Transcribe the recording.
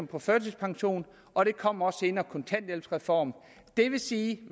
på førtidspension og der kommer også senere en kontanthjælpsreform det vil sige